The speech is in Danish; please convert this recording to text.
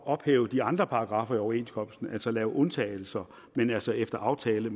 ophæve de andre paragraffer i overenskomsten altså lave undtagelser men efter efter aftale